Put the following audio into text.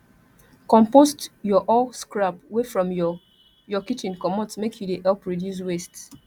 compost your all scrap wey from your your kitchen comot make you dey help reduce waste